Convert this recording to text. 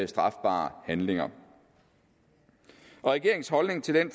strafbare handlinger regeringens holdning til den